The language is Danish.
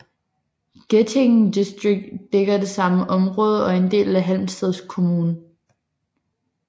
Getinge distrikt dækker det samme område og er en del af Halmstads kommun